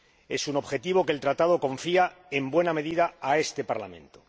Es un objetivo que el Tratado confía, en buena medida, a este Parlamento.